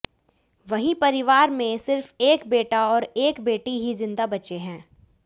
वहीं परिवार में सिर्फ एक बेटा और एक बेटी ही जिंदा बचे हैं